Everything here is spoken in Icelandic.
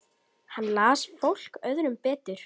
Hann las fólk öðrum betur.